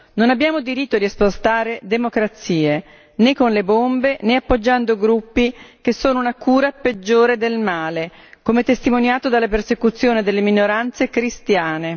Non abbiamo diritto di esportare democrazie, né con le bombe né appoggiando gruppi, che sono una cura peggiore del male, come testimoniato dalla persecuzione delle minoranze cristiane.